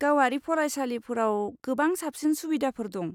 गावारि फरायसालिफोराव गोबां साबसिन सुबिदाफोर दं।